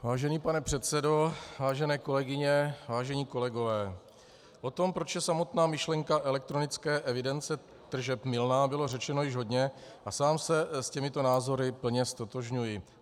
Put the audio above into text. Vážený pane předsedo, vážené kolegyně, vážení kolegové, o tom proč je samotná myšlenka elektronické evidence tržeb mylná, bylo řečeno již hodně a sám se s těmito názory plně ztotožňuji.